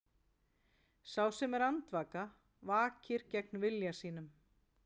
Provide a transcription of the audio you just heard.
Sá sem er andvaka vakir gegn vilja sínum.